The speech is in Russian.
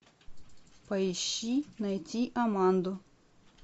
поищи найти аманду